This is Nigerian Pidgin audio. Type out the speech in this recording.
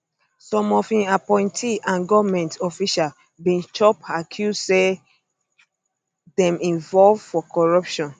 some of im appointees and goment officials bin chop accuse say dem involve for corruption